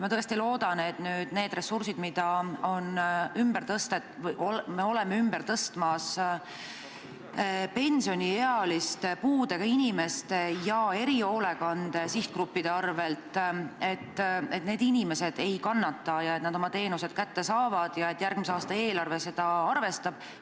Ma tõesti loodan, et nende ressurside pärast, mida me tõstame ümber pensioniealiste, puudega inimeste ja erihoolekande sihtgruppide arvel, need inimesed ei kannata ja saavad oma teenused kätte ning ka järgmise aasta eelarve seda arvestab.